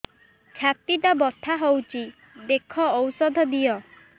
ଛାତି ଟା ବଥା ହଉଚି ଦେଖ ଔଷଧ ଦିଅ